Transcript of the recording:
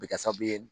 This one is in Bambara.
A bɛ kɛ sababu ye